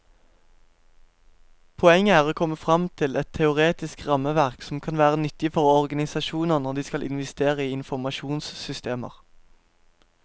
Poenget er å komme frem til et teoretisk rammeverk som kan være nyttig for organisasjoner når de skal investere i informasjonssystemer.